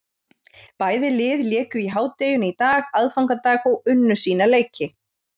Bæði lið léku í hádeginu í dag, aðfangadag, og unnu sína leiki.